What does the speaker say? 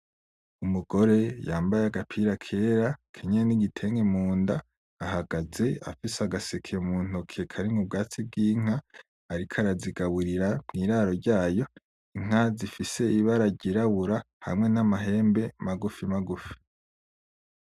Umugore yambaye agapira kera akenyeye n'igitenge munda ahagaze afise agaseke muntoki karimwo ubwatsi bw'inka ariko arazigaburira mwiraro ryayo, Inka zifise ibara ryirabura hamwe n'amahembe magufi magufi.